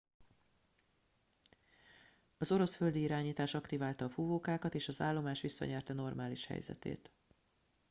az orosz földi irányítás aktiválta a fúvókákat és az állomás visszanyerte normális helyzetét